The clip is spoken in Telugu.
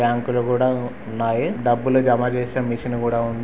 బ్యాంకులు కూడా ఉన్నాయి .డబ్బులు జమచేసె మెషిన్ కూడా ఉంది.